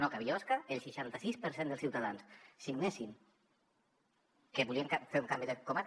no que a biosca el seixanta sis per cent dels ciutadans signessin que volien fer un canvi de comarca